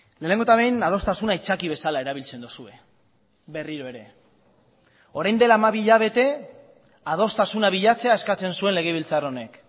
lehenengo eta behin adostasuna aitzaki bezala erabiltzen duzue berriro ere orain dela hamabi hilabete adostasuna bilatzea eskatzen zuen legebiltzar honek